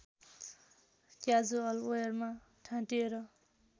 casual वेयरमा ठाँटिएर